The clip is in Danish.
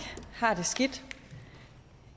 har det skidt